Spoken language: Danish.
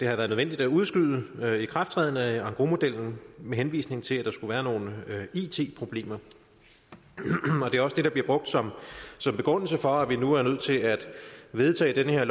har været nødvendigt at udskyde ikrafttræden af engrosmodellen med henvisning til at der skulle være nogle it problemer det er også det der bliver brugt som begrundelse for at vi nu er nødt til at vedtage det her